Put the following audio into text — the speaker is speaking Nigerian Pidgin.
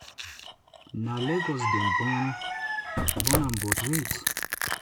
na lagos dem born born am but wen